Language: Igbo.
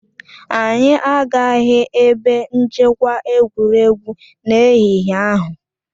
Anyị agaghị ebe nchekwa egwuregwu n'ehihie ahụ